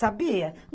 Sabia?